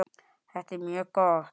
Þetta er mjög gott.